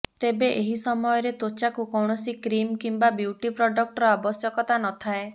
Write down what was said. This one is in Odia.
ତେବେ ଏହି ସମୟରେ ତ୍ୱଚାକୁ କୌଣସି କ୍ରିମ୍ କିମ୍ବା ବିୟୁଟି ପ୍ରଡକ୍ଟର ଆବଶ୍ୟକତା ନଥାଏ